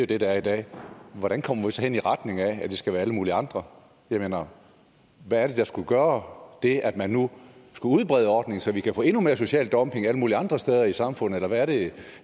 det der er i dag hvordan kommer vi så hen i retning af at det skal være alle mulige andre jeg mener hvad er det der skulle gøre det at man nu skulle udbrede ordningen så vi kan få endnu mere social dumping alle mulige andre steder i samfundet eller hvad er det